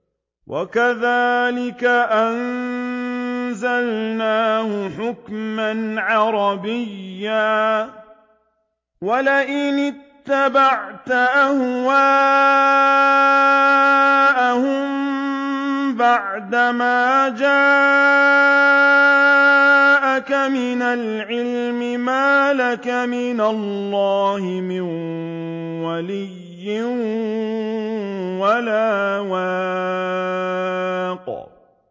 وَكَذَٰلِكَ أَنزَلْنَاهُ حُكْمًا عَرَبِيًّا ۚ وَلَئِنِ اتَّبَعْتَ أَهْوَاءَهُم بَعْدَمَا جَاءَكَ مِنَ الْعِلْمِ مَا لَكَ مِنَ اللَّهِ مِن وَلِيٍّ وَلَا وَاقٍ